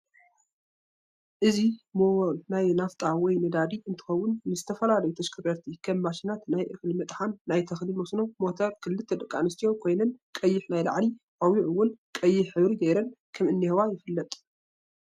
እዚ ሞቨል ናይ ላፊጣ ወይ ነዳዲ እንትከውን ንዝተፈላላዩ ተሽከርከርቲ ከም ማሽናት ናይ እክሊ መጥሓን ፣ናይ ተክሊ መስኖ ሞተር ክልተ ደቂ ኣንስተዮ ኮይነን ቀይሕ ናይ ላዕሊ ቆብዕ እውን ቀይሕ ሕብሪ ገይረን ከም ዝንህዋ ይፍለጥ።